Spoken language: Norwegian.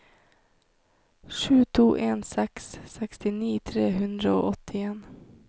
sju to en seks sekstini tre hundre og åttien